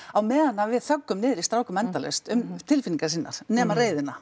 á meðan að við niður í strákum endalaust um tilfinningar sínar nema reiðina